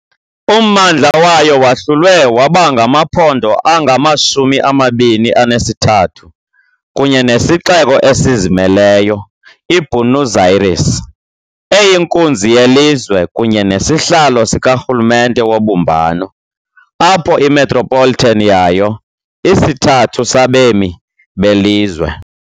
Ummandla wayo wahlulwe waba ngamaphondo angama-23 kunye nesixeko esizimeleyo, iBuenos Aires, eyinkunzi yelizwe kunye nesihlalo sikarhulumente wobumbano, apho i-metropolitan yayo isithathu sabemi belizwe.